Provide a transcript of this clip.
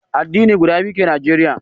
Addini guda biyu ke Nijeriya